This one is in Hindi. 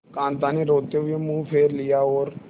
कांता ने रोते हुए मुंह फेर लिया और